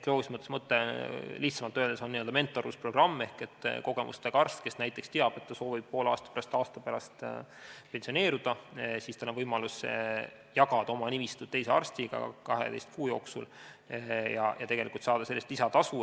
Loogilises mõttes, lihtsamalt öeldes on n-ö mentorlusprogramm ehk kui kogemustega arst, kes näiteks teab, et ta soovib poole aasta või aasta pärast pensioneeruda, siis tal on võimalus jagada oma nimistut teise arstiga 12 kuu jooksul ja tegelikult saada selle eest lisatasu.